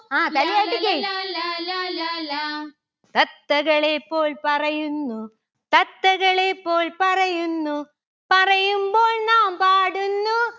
ആ തലയാട്ടിക്ക് ലാല്ലല ലാലാ ലാലാ ലാ. തത്തകളെ പോൽ പറയുന്നു. തത്തകളെ പോൽ പറയുന്നു. പറയുമ്പോൾ നാം പാടുന്നു